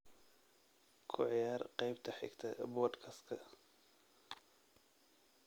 ku ciyaar qaybta xigta podcast-ka